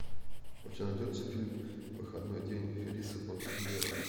у тебя найдется фильм выходной день ферриса бьюллера